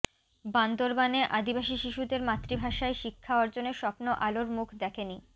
বান্দরবানে আদিবাসী শিশুদের মাতৃভাষায় শিক্ষা অর্জনের স্বপ্ন আলোর মুখ দেখেনি